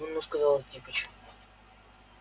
ну ну сказал антипыч